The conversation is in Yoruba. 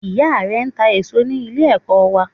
Ìyá rẹ n ta èsó ní Ilé ẹ̀kọ́ wa